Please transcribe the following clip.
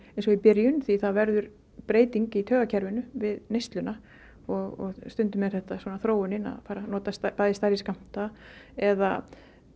og í byrjun því það verður breyting í taugakerfinu við neysluna og stundum er þetta þróunin að nota stærri skammta eða